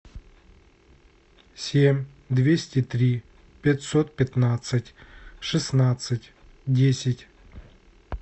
семь двести три пятьсот пятнадцать шестнадцать десять